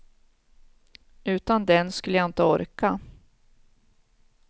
Utan den skulle jag inte orka.